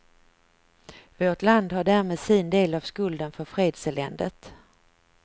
Vårt land har därmed sin del av skulden för fredseländet.